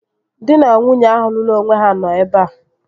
Dị na nwunye ahụ lụrụ onwe ha nọ ebea